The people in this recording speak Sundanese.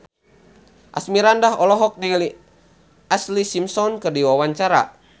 Asmirandah olohok ningali Ashlee Simpson keur diwawancara